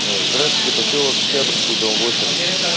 здравствуйте посёлок октябрьский дом восемь